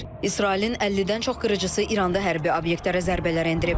İsrailin 50-dən çox qırıcısı İranda hərbi obyektlərə zərbələr endirib.